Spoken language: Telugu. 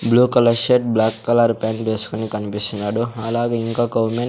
blue colour shirt black colour pant వేసుకుని కనిపిస్తున్నాడు అలాగే ఇంకొక ఉమెన్ --